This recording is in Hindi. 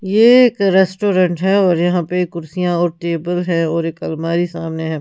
ये एक रेस्टोरेंट है और यहां पे कुर्सियां और टेबल है और एक अलमारी सामने है।